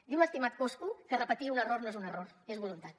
diu l’estimat coscu que repetir un error no és un error és voluntat